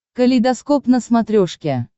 калейдоскоп на смотрешке